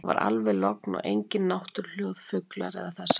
Það var alveg logn og engin náttúruhljóð, fuglar eða þess háttar.